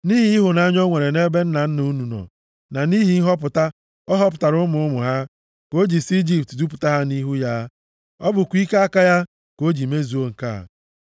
Nʼihi ịhụnanya o nwere nʼebe nna nna unu nọ na nʼihi nhọpụta ọ họpụtara ụmụ ụmụ ha, ka o ji si nʼIjipt dupụta unu nʼihu ya. Ọ bụkwa ike aka ya ka o ji mezuo nke a.